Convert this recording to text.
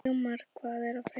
Sigmar, hvað er að frétta?